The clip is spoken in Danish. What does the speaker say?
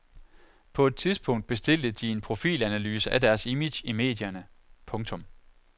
På et tidspunkt bestilte de en profilanalyse af deres image i medierne. punktum